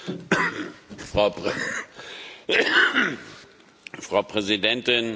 Frau Präsidentin, liebe Kolleginnen und Kollegen, Frau Staatssekretärin, Herr Kommissar!